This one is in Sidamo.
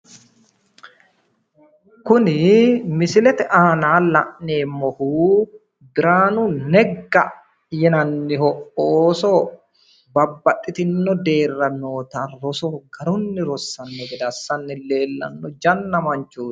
Kunl misilete aana la'neemohu biraanu negga yinanniho ooso babbaxxitino deerra noota roso garunni rossanno gede assanni leellanno janna manchooti